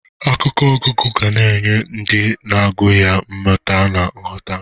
Akwụkwọ ọgụgụ ga na-enye ndị na-agụ ya mmụta na nghọta.